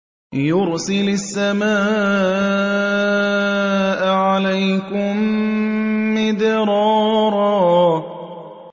يُرْسِلِ السَّمَاءَ عَلَيْكُم مِّدْرَارًا